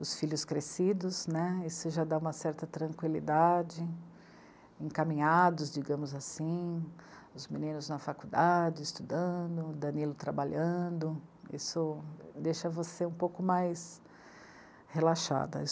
os filhos crescidos, né, isso já dá uma certa tranquilidade, encaminhados, digamos assim, os meninos na faculdade, estudando, o Danilo trabalhando, isso deixa você um pouco mais relaxada.